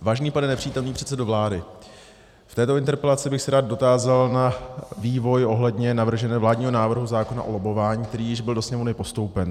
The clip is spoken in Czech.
Vážený pane nepřítomný předsedo vlády, v této interpelaci bych se rád dotázal na vývoj ohledně navrženého vládního návrhu zákona o lobbování, který již byl do Sněmovny postoupen.